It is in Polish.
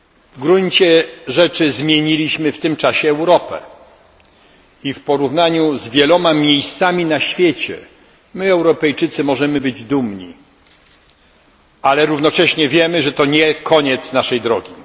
W gruncie rzeczy zmieniliśmy w tym czasie Europę i w porównaniu z wieloma miejscami na świecie, my Europejczycy możemy być dumni, ale równocześnie wiemy, że to nie koniec naszej drogi.